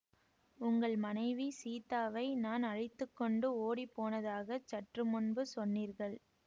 உங்கள் மனைவி சீதாவை நான் அழைத்து கொண்டு ஓடி போனதாகச் சற்று முன்பு சொன்னீர்கள்